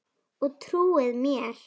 Og trúað mér!